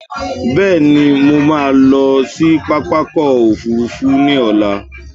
Bẹ́ẹ̀ni, mo ma lọ sí pápákọ̀ ọ̀kọ òfurufú ní ọ̀la